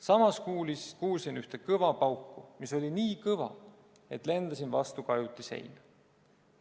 Samas kuulsin ühte kõva pauku, mis oli nii kõva, et lendasin vastu kajuti seina.